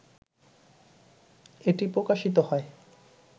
এটি প্রকাশিত হয়